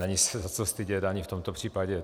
Není se za co stydět ani v tomto případě.